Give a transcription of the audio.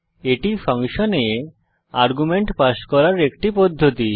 এটি ফাংশনে argument pass করার একটি পদ্ধতি